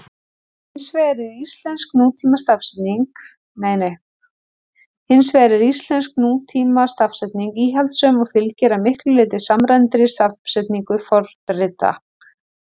Hins vegar er íslensk nútímastafsetning íhaldssöm og fylgir að miklu leyti samræmdri stafsetningu fornrita.